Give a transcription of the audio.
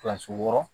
Kilasi wɔɔrɔ